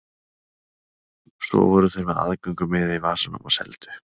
Svo voru þeir með aðgöngumiða í vasanum og seldu.